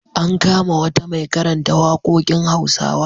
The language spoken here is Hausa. An kama wata mai karanta waƙoƙin Hausawa.